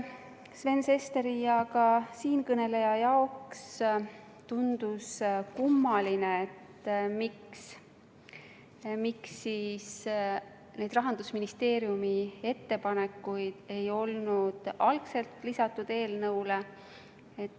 Sven Sesteri ja ka siinkõneleja jaoks tundus kummaline, miks siis neid Rahandusministeeriumi ettepanekuid ei olnud kohe eelnõule lisatud.